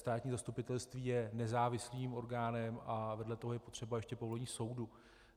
Státní zastupitelství je nezávislým orgánem a vedle toho je potřeba ještě povolení soudu.